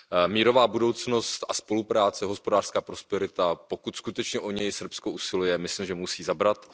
Mírová budoucnost a spolupráce, hospodářská prosperita, pokud skutečně o ně Srbsko usiluje, myslím, že musí zabrat.